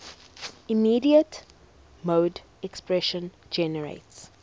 immediate mode expression generates